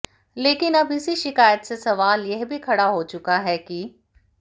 लेकिन अब इसी शिकायत से सवाल यह भी खड़ा हो चुका है कि